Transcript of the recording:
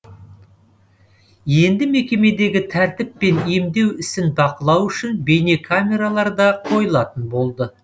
енді мекемедегі тәртіп пен емдеу ісін бақылау үшін бейнекамералар да қойылатын болды